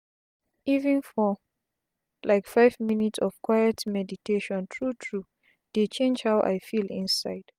even for like five minutes of quiet meditation tru tru dey change how i feel inside.